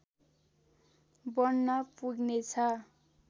बन्न पुग्नेछ